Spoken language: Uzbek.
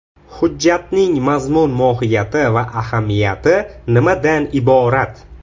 Hujjatning mazmun-mohiyati va ahamiyati nimadan iborat?